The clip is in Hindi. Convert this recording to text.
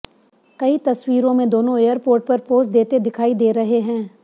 कई तस्वीरों में दोनों एयरपोर्ट पर पोज देते दिखाई दे रहे हैं